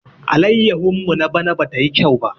Allayahun mu na bana ba tayi kyau ba.